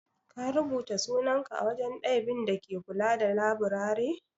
Ka rubuta sunanka a wajen daibin da ke kula da laburare?